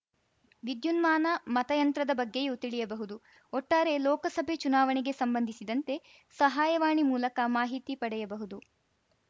ವಿದ್ಯುನ್ಮಾನ ಮತಯಂತ್ರದ ಬಗ್ಗೆಯೂ ತಿಳಿಯಬಹುದು ಒಟ್ಟಾರೆ ಲೋಕಸಭೆ ಚುನಾವಣೆಗೆ ಸಂಬಂಧಿಸಿದಂತೆ ಸಹಾಯವಾಣಿ ಮೂಲಕ ಮಾಹಿತಿ ಪಡೆಯಬಹುದು